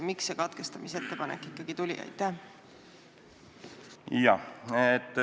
Miks see katkestamisettepanek ikkagi tuli?